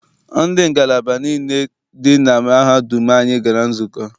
Ndị isi ngalaba niile dị na mahadum anyị gara nzukọ.